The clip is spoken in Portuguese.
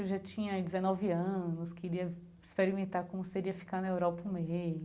Eu já tinha dezenove anos, queria experimentar como seria ficar na Europa um mês.